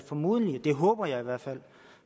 formodentlig det håber jeg i hvert fald